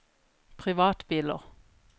privatbiler